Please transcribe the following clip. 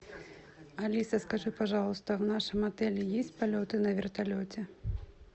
алиса скажи пожалуйста в нашем отеле есть полеты на вертолете